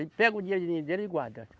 Ele pega o dinheirinho dele e guarda.